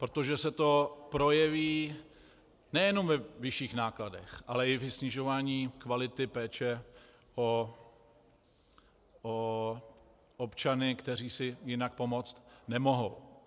Protože se to projeví nejenom ve vyšších nákladech, ale i ve snižování kvality péče o občany, kteří si jinak pomoct nemohou.